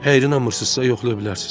Hey inanmırsızsa yoxlaya bilərsiz.